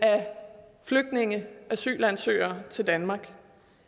flygtninge asylansøgere til danmark det